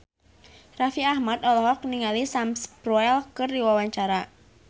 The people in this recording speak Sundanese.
Raffi Ahmad olohok ningali Sam Spruell keur diwawancara